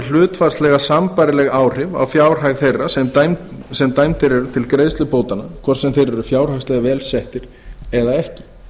hlutfallslega sambærileg áhrif á fjárhag þeirra sem dæmdir er til greiðslu bótanna hvort sem þeir eru fjárhagslega vel settir eða ekki